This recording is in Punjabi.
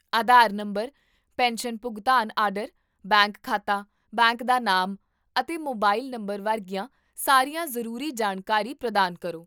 ਆਧਾਰ ਨੰਬਰ, ਪੈਨਸ਼ਨ ਭੁਗਤਾਨ ਆਰਡਰ, ਬੈਂਕ ਖਾਤਾ, ਬੈਂਕ ਦਾ ਨਾਮ, ਅਤੇ ਮੋਬਾਈਲ ਨੰਬਰ ਵਰਗੀਆਂ ਸਾਰੀਆਂ ਜ਼ਰੂਰੀ ਜਾਣਕਾਰੀ ਪ੍ਰਦਾਨ ਕਰੋ